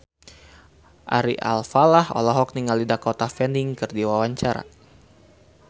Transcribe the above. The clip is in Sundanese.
Ari Alfalah olohok ningali Dakota Fanning keur diwawancara